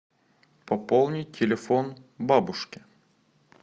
пополнить телефон бабушки